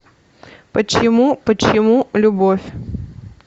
почему почему любовь